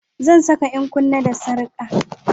Zan saka 'yan kunne da sarka